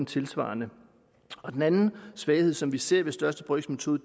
tilsvarende den anden svaghed som vi ser ved største brøks metode